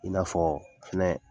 I n'afɔ fɛnɛ